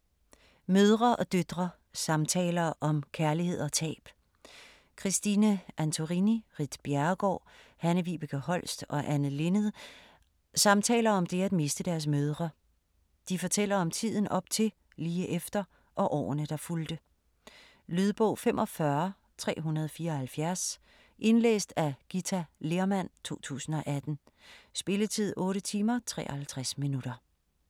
Mødre og døtre: samtaler om kærlighed og tab Christine Antorini, Ritt Bjerregaard, Hanne-Vibeke Holst og Anne Linnet samtaler om det at miste deres mødre. De fortæller om tiden op til, lige efter og årene der fulgte. Lydbog 45374 Indlæst af Githa Lehrmann, 2018. Spilletid: 8 timer, 53 minutter.